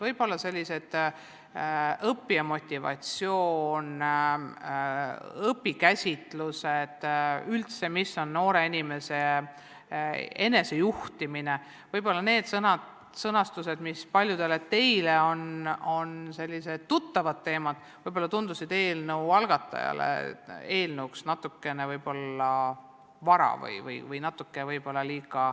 Võib-olla sellised teemad nagu õppija motivatsioon, õpikäsitlused, noore inimese enesejuhtimine, mis paljudele teile on tuttavad, tundusid eelnõu algatajale eelnõusse kaasamiseks natuke varased.